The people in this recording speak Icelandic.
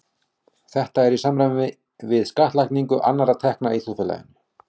Þetta er í samræmi við skattlagningu annarra tekna í þjóðfélaginu.